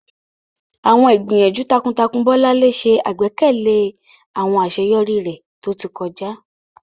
Àwọn ìgbìyànjú takuntakun Bolanle ṣe àgbékalẹ̀ àwọn àṣeyọrí rẹ̀ tó ti kọjá.